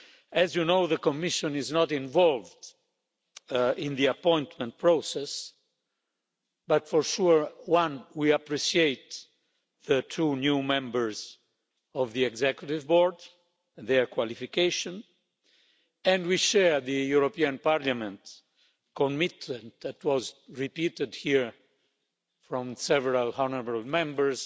As you know, the Commission is not involved in the appointment process, but for sure, we appreciate the two new members of the Executive Board and their qualifications and we share the European Parliament's commitment, that was repeated here by several honourable Members,